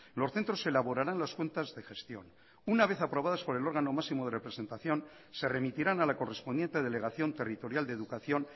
los centros elaborarán las cuentas de gestión una vez aprobadas por el órgano máximo de representación se remitirán a la correspondiente delegación territorial de educación